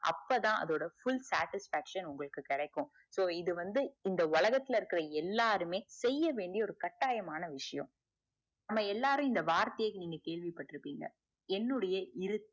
அப்போதான் full statisfication உங்களுக்கு கெடைக்கும் so இது வந்து இந்த உலகத்துல இருக்குற எல்லாருமே செய்ய வேண்டிய ஒரு கட்டாயமான விஷயம் நாம் எல்லாருமே இந்த வார்த்தைய நீங்க கேள்விபட்டு இருபீங்க என்னுடைய இரு